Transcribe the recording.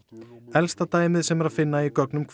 elsta dæmið sem er að finna í gögnunum